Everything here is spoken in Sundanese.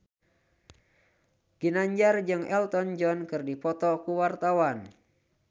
Ginanjar jeung Elton John keur dipoto ku wartawan